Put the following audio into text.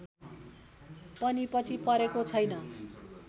पनि पछि परेको छैन